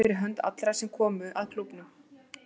Ég er glaður fyrir hönd allra sem koma að klúbbnum.